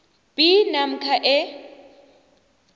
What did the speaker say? b namkha e